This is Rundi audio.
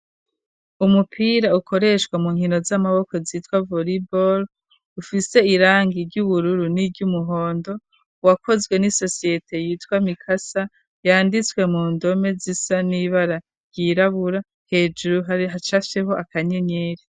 Umupira ukoreshwa mu nkino z'amaboko zitwa vuribol ufise irangi ry'ubururu n'iryo umuhondo uwakozwe n'i sosiyete yitwa mikasa yanditswe mu ndome z'isa n'ibararyirabura hejuru arihacafyeho akanyenyeri.